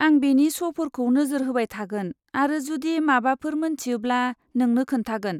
आं बेनि श'फोरखौ नोजोरहोबाय थागोन आरो जुदि माबाफोर मोन्थियोब्ला नोंनो खोन्थागोन।